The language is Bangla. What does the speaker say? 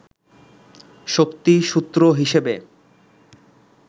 শক্তি সূত্র হিসেবে